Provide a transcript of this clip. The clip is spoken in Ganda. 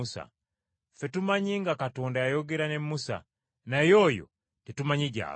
Ffe tumanyi nga Katonda yayogera ne Musa, naye oyo tetumanyi gy’ava.”